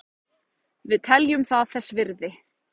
Við teljum það þess virði